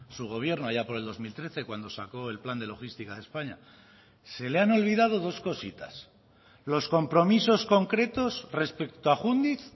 su gobierno allá por el dos mil trece cuando sacó el plan de logística de españa se le han olvidado dos cositas los compromisos concretos respecto a júndiz